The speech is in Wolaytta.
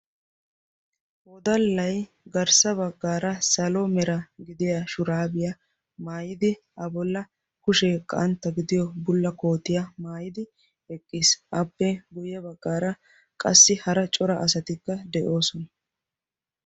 wodallay garssa baggaara salo mera gidiya shuraabiyaa maayidi a bolla kushee qantta gidiyo bulla kootiya maayidi eqqiis appe guyye baggaara qassi hara cora asatikka de'oosona